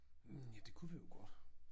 Ja det kunne vi jo godt